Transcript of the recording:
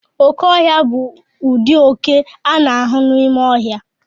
Oke ọhịa bụ ụdị oke a na-ahụ n'ime ọhịa.